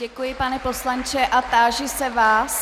Děkuji, pane poslanče, a táži se vás...